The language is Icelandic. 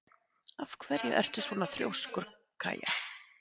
Af hverju ertu svona þrjóskur, Kaja?